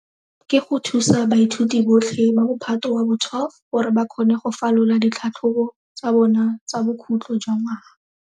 Ke go thusa baithuti botlhe ba Mophato wa bo 12 gore ba kgone go falola ditlhatlhobo tsa bona tsa bokhutlo jwa ngwaga.